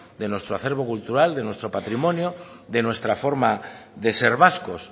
de nuestro acerbo cultural de nuestro patrimonio de nuestra forma de ser vascos